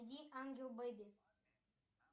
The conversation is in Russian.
найди ангел бейби